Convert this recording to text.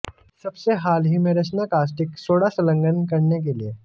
सबसे हाल ही में रचना कास्टिक सोडा संलग्न करने के लिए